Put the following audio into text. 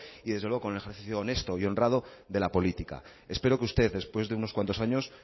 y desde luego con el ejercicio honesto y honrado de la política espero que usted después de unos cuantos años